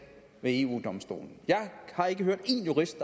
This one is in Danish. ved eu domstolen jeg har ikke hørt én jurist